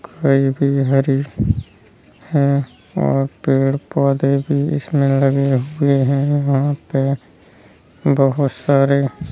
कोई भी हरी है और पेड़-पौधे भी इसमें लगे हुए है यहाँ पे बहुत सारे --